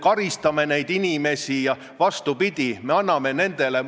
Härrasmees lõpetab kõne siis, kui ta on tänanud istungi juhatajat ja häid kolleege kaasa mõtlemast.